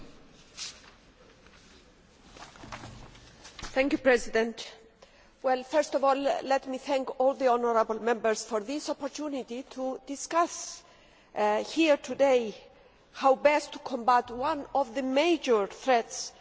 Mr President, first of all, let me thank all the honourable Members for this opportunity to discuss, here today, how best to combat one of the major threats that organised sport is facing today match fixing